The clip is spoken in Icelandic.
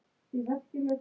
Hvað er list?